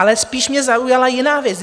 Ale spíš mě zaujala jiná věc.